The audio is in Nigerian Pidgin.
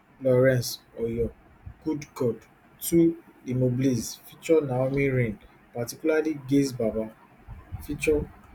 lawrence oyor good god two limoblaze ft naomi raine particularly gaise baba ft